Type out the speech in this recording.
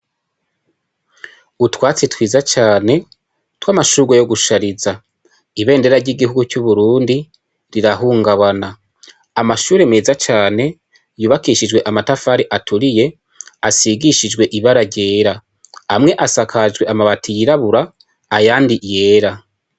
Utwatsi twiza cane tw' amashurwe yo gushariza ibendera ry'igihugu c'uburundi rirahungabana amashure meza cane yubakishijwe amatafari aturiye asigishijwe ibara ryera amwe asakajwe amabati yirabura ayandi yera.